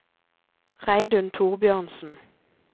Reidun Thorbjørnsen